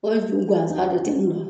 Foyi tun gansan de ten in wa ?